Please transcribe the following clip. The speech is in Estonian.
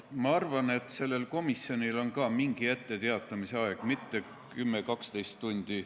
Ma arvan, et sellel komisjonil on ka mingi etteteatamise aeg, see ei ole mitte 10–12 tundi.